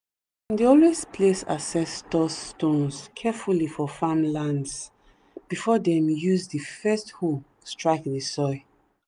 always place ancestor stones carefully for family lands before them use the first hoe strike the soil.